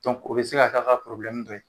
o be se ka k'a ka dɔ ye.